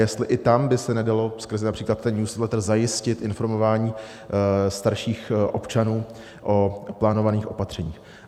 Jestli i tam by se nedalo skrze například ten newsletter zajistit informování starších občanů o plánovaných opatřeních.